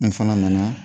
N fana nana